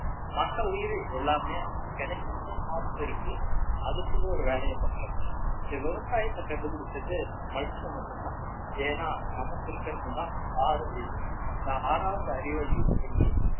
மத்த உயிரு எல்லாமே கிடைக்கிறத சாப்பிட்டு இருக்கு அதுக்குன்னு ஒரு வேலையை பண்றது இல்லை இந்த விவசாயத்தை கண்டுபிடிச்சது மனுஷன் மட்டும்தான் ஏன்னா நமக்கு இருக்கிறதுதான் ஆறு அறிவு இந்த ஆறாவது அறிவை use பண்ணி